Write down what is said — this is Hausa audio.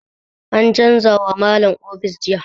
An canza wa Malam ofis jiya.